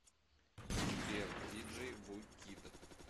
сбер диджей ву кид